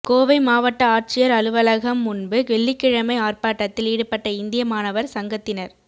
கோவை மாவட்ட ஆட்சியா் அலுவகம் முன்பு வெள்ளிக்கிழமை ஆா்ப்பாட்டத்தில் ஈடுபட்ட இந்திய மாணவா் சங்கத்தினா்